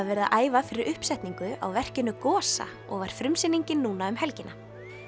verið að æfa fyrir uppsetningu á verkinu Gosa og var frumsýningin núna um helgina